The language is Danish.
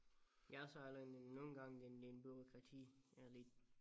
Ja og så er en en nogle gange en en bureaukrati ja lidt